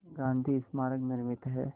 गांधी स्मारक निर्मित है